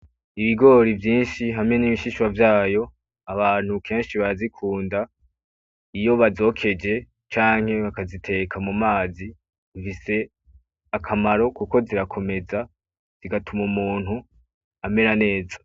ibigori vyishi hamwe nibishishwa vyayo abantu keshi barazikunda iyo bazokeje canke bakaziteka mumazi zifise akamaro kuko zirakomeza zigatuma umuntu amera neza